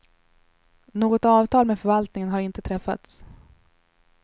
Något avtal med förvaltningen har inte träffats.